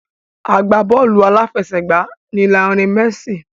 Agbá bọ́ọ̀lù àfẹsẹ̀gbá ni Lionel Messi.